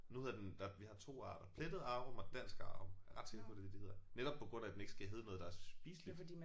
Nu hedder den der vi har 2 arter plettet arum og dansk arum. Jeg er ret sikker på det er det de hedder netop på grund af den ikke skal hedde noget der er spiseligt